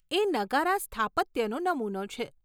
એ નગારા સ્થાપત્યનો નમુનો છે.